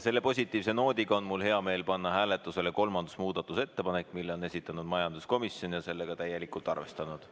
Selle positiivse noodiga on mul hea meel panna hääletusele kolmas muudatusettepanek, mille on esitanud majanduskomisjon ja on ise seda ka täielikult arvestanud.